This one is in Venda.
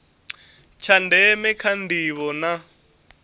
tsha ndeme kha ndivho na